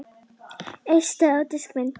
Eistu á diskinn minn